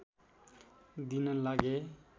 दिन लागे